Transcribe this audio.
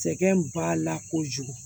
Sɛgɛn b'a la kojugu